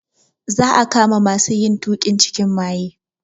Za a kama masu yin tuƙin cikin maye.